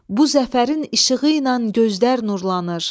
Bu zəfərin işığı ilə gözlər nurlanır.